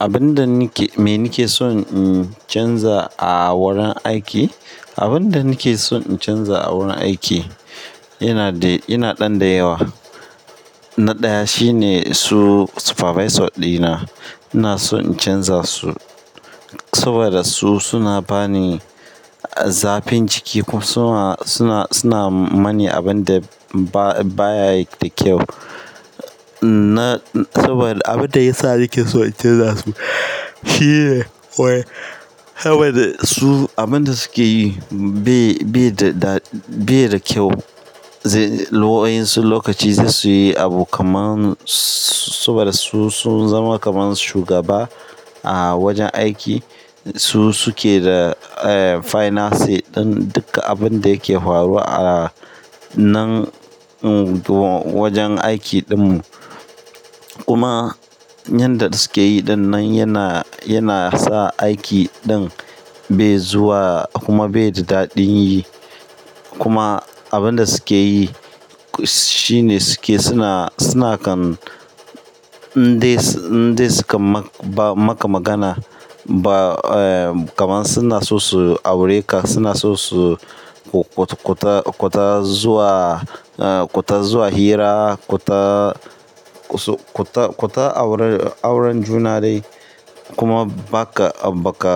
Abin da nake, me nake so in canza a wurin aiki, abin da nake so in canza a wurin aiki yana da, yana ɗan da yawa. Na ɗaya shine su supervisor ɗina. Ina so in canza su saboda su suna bani zafin ciki kuma suna, suna, suna mani abun da ba, ba ya da kyau. Na, saboda abin da ya sa nake so in canza su shi ne wai saboda su abin da suke yi bai, bai da, bai da kyau. Zai, waƴansu lokaci zai su yi abu kaman saboda su sun zama kaman shugaba a wajen aiki. Su suke da, eh, finance ɗin duka abun da yake faruwa a nan wajen aikin ɗinmu. Kuma yanda suke yi ɗinnan yana, yana sa aiki ɗin bai zuwa kuma bai da daɗin yi. Kuma abin da suke yi shine suke suna, suna kan abin da nake, me nake so in canza a wurin aiki, abin da nake so in canza a wurin aiki yana da, yana ɗan da yawa. Suna kwata, kwata aure, auren juna dai kuma ba ka, ba ka,